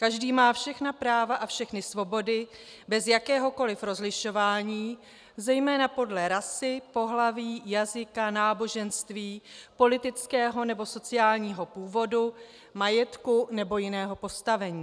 Každý má všechna práva a všechny svobody bez jakéhokoli rozlišování, zejména podle rasy, pohlaví, jazyka, náboženství, politického nebo sociálního původu, majetku nebo jiného postavení.